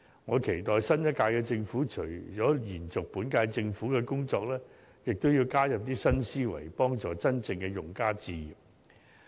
我期待新一屆政府，除了延續本屆政府的工作之外，也會加入新思維，協助真正的用家置業。